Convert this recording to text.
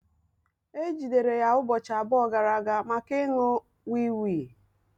E jidere ya ụbọchị abụọ gara aga maka ịṅụ wii wii